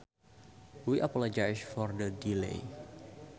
We appologise for the delay